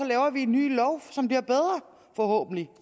laver vi en ny lov som bliver bedre forhåbentlig